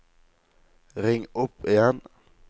ring opp igjen